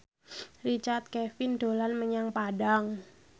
Richard Kevin dolan menyang Padang